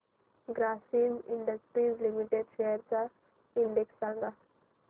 Grasim industries limited shares चा index सांगा